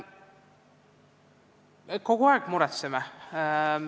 Me kogu aeg muretseme.